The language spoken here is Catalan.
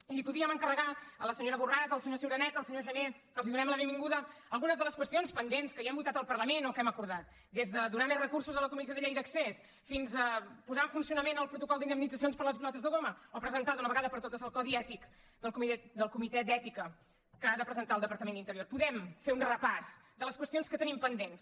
i els podíem encarregar a la senyora borràs al senyor ciuraneta al senyor jané que els donem la benvinguda algunes de les qüestions pendents que ja hem votat al parlament o que hem acordat des de donar més recursos a la comissió del dret d’accés fins a posar en funcionament el protocol d’indemnitzacions per les pilotes de goma o presentar d’una vegada per totes el codi ètic del comitè d’ètica que ha de presentar el departament d’interior podem fer un repàs de les qüestions que tenim pendents